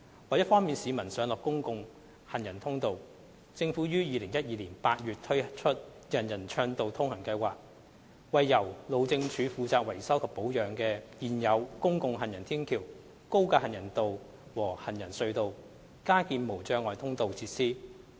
為方便市民上落公共行人通道，政府於2012年8月推出"人人暢道通行"計劃，為由路政署負責維修及保養的現有公共行人天橋、高架行人道和行人隧道加建無障礙通道設施。